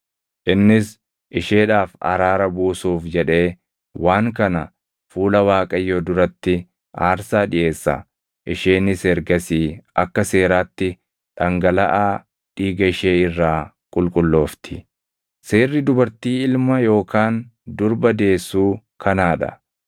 Innis isheedhaaf araara buusuuf jedhee waan kana fuula Waaqayyoo duratti aarsaa dhiʼeessa; isheenis ergasii akka seeraatti dhangalaʼaa dhiiga ishee irraa qulqulloofti. “ ‘Seerri dubartii ilma yookaan durba deessuu kanaa dha.